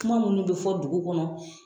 Kuma munnu bi fɔ dugu kɔnɔ